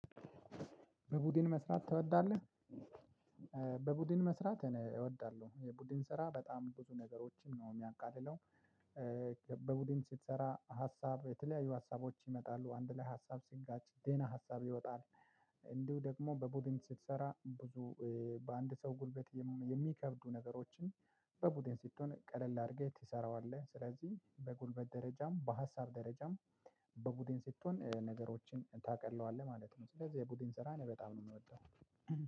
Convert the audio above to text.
በቡድን መስራት ትወዳለህ? በቡድን መስራት እወዳለሁ የቡድን ስራ በጣም ብዙ ነገሮችን ነው የሚያቃልለው። በቡድን ስትሰራ ሀሳብ የተለያዩ ሀሳቦች ይመጣሉ አንድ ላይ ሀሳብ ስጋች ደህና ሀሳብ ይወጣል። እንዲሁ ደግሞ በቡድን ስትሰራ ብዙ በአንድ ሰው ጉልበት የሚከብዱ ነገሮችን በቡድን ስትሆን ቀለል አድርገህ ትሰራዋለህ። ስለዚህ በጉልበት ደረጃም በሀሳብ ደረጃም በቡድን ስትሆን ነገሮችን ታቀለዋለህ ማለት ነው። ስለዚህ የቡድን ስራ በጣም ነው የምወደው።